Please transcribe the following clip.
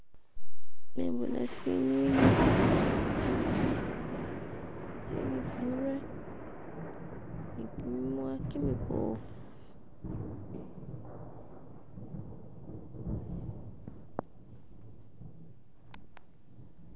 Nabona shinywinywi shili ni gumurwe ni giminwa gimibofu.